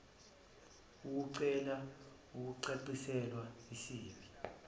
ukucela ukucaciselwa isib